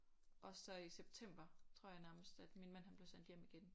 Og så i september tror jeg nærmest at min mand han blev sendt hjem igen